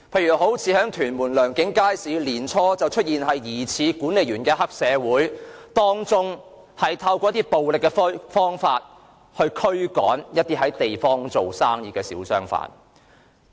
以屯門良景街市為例，年初曾出現疑似黑社會的管理員，以暴力方法驅趕在地方做生意的小商販。